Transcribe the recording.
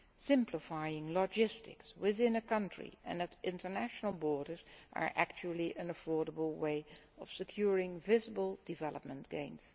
Simplifying logistics within a country and at international borders is actually an affordable way of securing visible development gains.